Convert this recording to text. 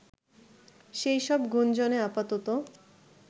সেই সব গুঞ্জনে আপাতত